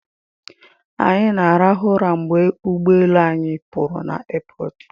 Anyị rahụrụ ụra mgbe ụgbọelu anyị pụrụ na aiipọọtụ